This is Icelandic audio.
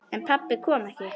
En pabbi kom ekki.